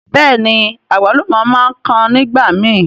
Bẹ́ẹ̀ni, àgbálùmọ̀ máa ń kan nígbàmi.